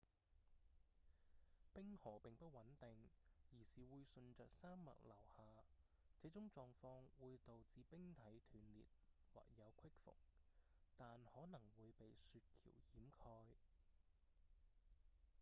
冰河並不穩定而是會順著山脈流下這種狀況會導致冰體斷裂或有隙縫但可能會被雪橋掩蓋